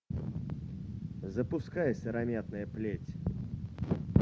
запуская сыромятная плеть